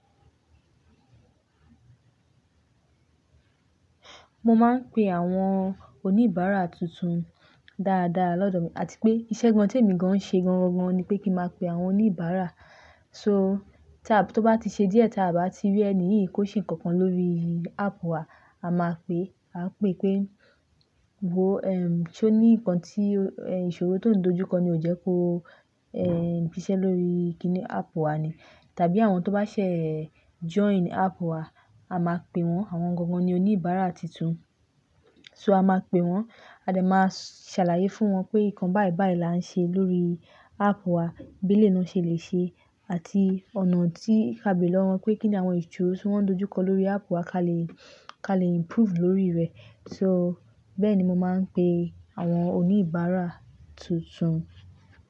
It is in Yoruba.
Mo máa ń pe àwọn oníbàárà tuntun dáadáa lọ́dọ̀ mi, àti pé ìṣẹ́ gan tí èmi gan-an ń ṣe gan-an ni pé kí máa pe àwọn oníbàárà. So ta b, tó bá ti ṣe díẹ̀ ta bá ti rí ẹni yìí kó ṣe nǹkankan lórí áàpù wa, a máa pè e, a pè pé, "wo, ehm, so ní nǹkan tí, eh, ìṣòro tó ń dojúkọ ni ó jẹ́ kó, eh, siṣẹ́ lórí kíni áàpù wa ni?" tàbí àwọn tó bá ṣe join app wa, a máa pe wọ́n, àwọn gangan ni oníbàrà títun. So a máa pe wọ́n, a dẹ̀ máa ṣàlàyé fún wọn pé nǹkan báìbáì lá ń ṣe lórí áàpù wa, beleyii náà ṣe lè ṣe àti ọ̀nà tí á bèèrè lọ́wọ́ wọn pé kíni àwọn ìṣòro tí wọ́n n dojúkọ lórí áàpù wa ka lè, ka lè improve lórí rẹ̀. So bẹ́ẹ̀ni mo máa ń pe àwọn oníbàárà tuntun.